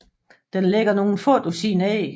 Den lægger nogen få dusin æg